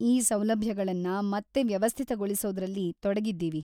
ಈ ಸೌಲಭ್ಯಗಳನ್ನ ಮತ್ತೆ ವ್ಯವಸ್ಥಿತಗೊಳಿಸೋದ್ರಲ್ಲಿ ತೊಡಗಿದ್ದೀವಿ.